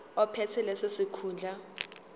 ophethe leso sikhundla